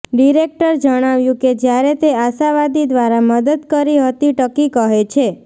director જણાવ્યું કે જ્યારે તે આશાવાદી દ્વારા મદદ કરી હતી ટકી કહે છે